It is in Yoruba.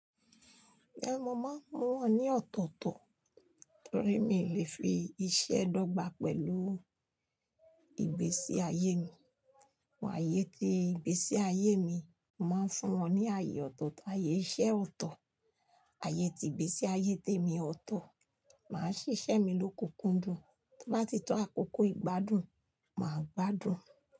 Ehn mo máa mú wọ́n ní ọ̀tọ̀tọ̀ torí mi ò lè fi iṣẹ́ dọ́gba pẹ̀lú ìgbésí ayé mi? Wà á yé tí ìgbésí ayé mi, màá fún wọn ní ààyè ọ̀tọ̀tọ̀, ààyè iṣẹ́ ọ̀tọ̀, ààyè tí ìgbésí ayé tèmi ọ̀tọ̀. Màá ṣiṣẹ́ mi lóko kúndùn, tó bá ti tó àkókò ìgbádùn, màá gbádùn.